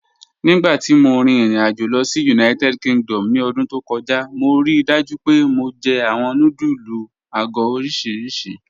Nígbàtí mó rí irin-àjò lọ sí United Kingdom ní ọdún tó kọja, mó ríì dájú pé mó jẹ̀ awọn nùdúlù àgọ̀ oriṣíríṣì.